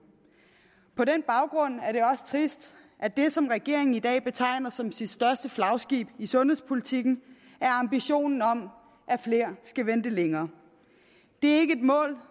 på den baggrund er det også trist at det som regeringen i dag betegner som sit største flagskib i sundhedspolitikken er ambitionen om at flere skal vente længere det er ikke et mål